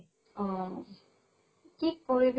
অহ। কি কৰিবি।